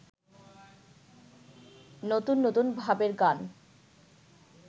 নতুন নতুন ভাবের গান